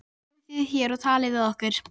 Komið þið hér og talið við okkur.